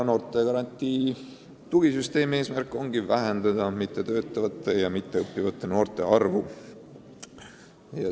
Noortegarantii tugisüsteemi eesmärk ongi vähendada mittetöötavate ja mitteõppivate noorte arvu.